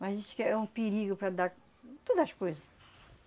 Mas isso que é um perigo para dar todas as coisas.